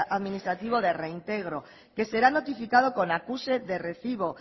administrativo de reintegro que será notificado con acuse de recibo